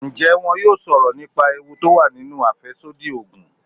Ǹjẹ́ wón yóò sọ̀rọ̀ nípa ewu tó wà nínú àfẹ́sódì Ògùn.